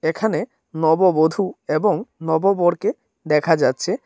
এখানে নববধূ এবং নববরকে দেখা যাচ্ছে।